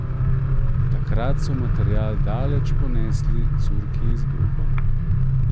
Takrat so material daleč ponesli curki izbruhov.